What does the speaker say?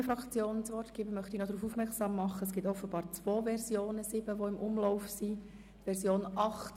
Bevor ich der BDP-Fraktion das Wort erteile, möchte ich darauf hinweisen, dass sich offenbar zwei Fassungen der Version 7 im Umlauf befinden.